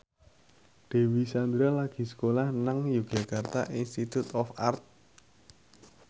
Dewi Sandra lagi sekolah nang Yogyakarta Institute of Art